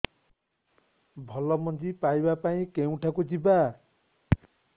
ଭଲ ମଞ୍ଜି ପାଇବା ପାଇଁ କେଉଁଠାକୁ ଯିବା